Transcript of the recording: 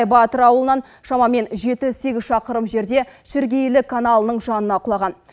батыр ауылынан шамамен жеті сегіз шақырым жерде шіркейлі каналының жанына құлаған